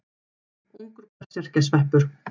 Ungur berserkjasveppur.